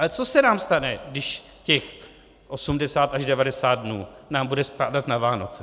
Ale co se nám stane, když těch 80 až 90 dnů nám bude spadat na Vánoce?